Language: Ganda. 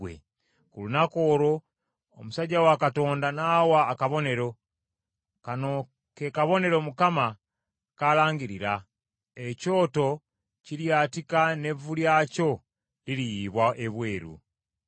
Ku lunaku olwo omusajja wa Katonda n’awa akabonero: “Kano ke kabonero Mukama kalangirira. Ekyoto kiryatika n’evvu lyakyo liriyiyibwa ebweru.”